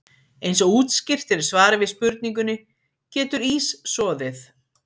Eins og útskýrt er í svari við spurningunni Getur ís soðið?